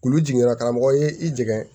Kulu jiginna karamɔgɔ ye i jigin